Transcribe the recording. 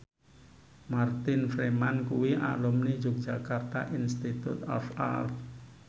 Martin Freeman kuwi alumni Yogyakarta Institute of Art